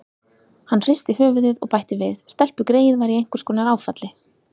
Hann hristi höfuðið og bætti við: Stelpugreyið var í einhvers konar áfalli.